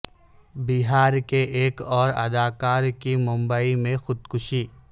بہار کے ایک اور اداکار کی ممبئی میں خودکشی